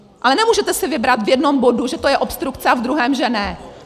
Ale nemůžete si vybrat v jednom bodu, že to je obstrukce, a v druhém, že ne!